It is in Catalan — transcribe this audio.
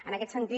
en aquest sentit